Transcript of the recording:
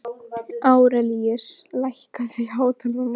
Árelíus, lækkaðu í hátalaranum.